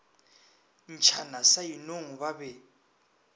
ntšhana sa inong ba be